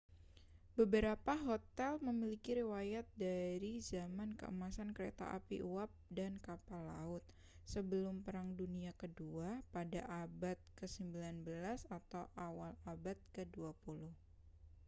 beberapa hotel memiliki riwayat dari zaman keemasan kereta api uap dan kapal laut sebelum perang dunia kedua pada abad ke-19 atau awal abad ke-20